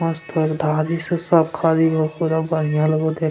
आज तो एक धारी से सब खरी हो पूरा बढ़िया लगो देख --